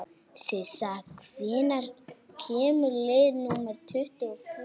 Sissa, hvenær kemur leið númer tuttugu og fjögur?